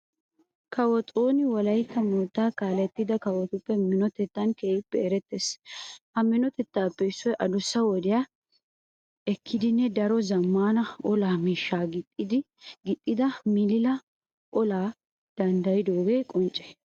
Kawo xooni wolaytta moottaa kaalettida kawotuppe minotettan keehippe erettees. Ha minotettaappe issoy adussa wodiya ekkidanne daro zammaana olaa miishshaa gixxida milile olaa danddayidoogee qoncce.